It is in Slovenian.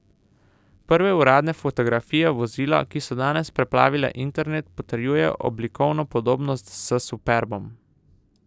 Prve uradne fotografije vozila, ki so danes preplavile internet, potrjujejo oblikovno podobnost s superbom.